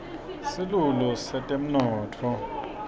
silulu setemnotfo